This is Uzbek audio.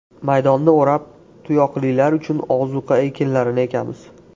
Maydonni o‘rab, tuyoqlilar uchun ozuqa ekinlarini ekamiz.